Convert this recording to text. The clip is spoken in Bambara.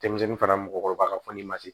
Denmisɛnnin fana mɔgɔkɔrɔba ka fɔ ni masi